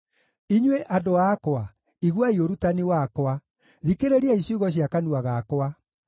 Inyuĩ andũ akwa, iguai ũrutani wakwa; thikĩrĩriai ciugo cia kanua gakwa.